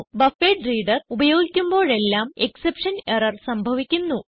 buffered reader ഉപയോഗിക്കുമ്പോഴെല്ലാം exception error സംഭവിക്കുന്നു